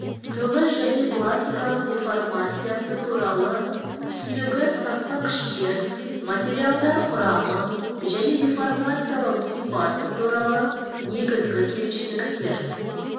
тығыз және пластикалық деформациясы туралы түсінігі сыртқы күштер материалдар құрамы және деформациялау сипаты туралы негізгі кемшіліктер